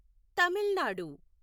Tamil Nadu